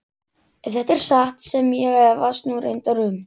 Ef þetta er satt sem ég efast nú reyndar um.